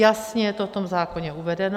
Jasně je to v tom zákoně uvedeno.